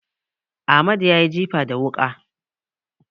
Amadu ya yi jifa da wuƙa.